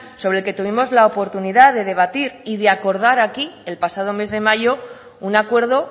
sobre el que tuvimos la oportunidad de debatir y de acordar aquí el pasado mes de mayo un acuerdo